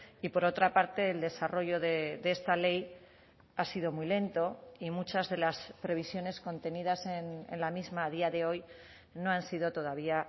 y por otra parte el desarrollo de esta ley ha sido muy lento y muchas de las previsiones contenidas en la misma a día de hoy no han sido todavía